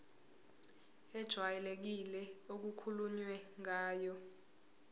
ejwayelekile okukhulunywe ngayo